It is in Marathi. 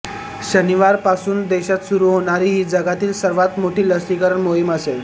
शनिवारपासून देशात सुरू होणारी ही जगातील सर्वात मोठी लसीकरण मोहीम असेल